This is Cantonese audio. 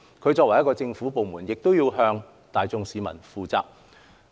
港台作為政府部門，需要向大眾市民負責。